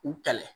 U kɛlɛ